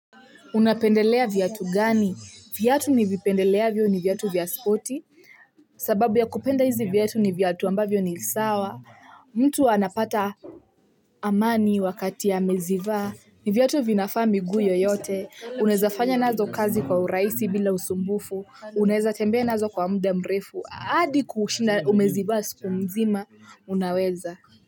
Unapendelea viatu gani? Viatu nivipendeleavyo ni viatu vya spoti. Sababu ya kupenda hizi viatu ni viatu ambavyo ni sawa. Mtu anapata amani wakati amezivaa. Ni viatu vinafaa miguu yoyote. Unaweza fanya nazo kazi kwa urahisi bila usumbufu. Unaweza tembea nazo kwa muda mrefu. Hadi kushinda umezivaa siku nzima, unaweza.